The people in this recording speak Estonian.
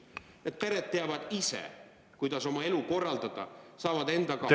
Need pered teavad ise, kuidas oma elu korraldada, nad saavad endaga hakkama …